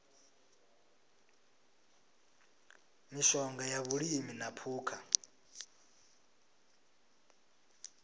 mishonga ya vhulimi na phukha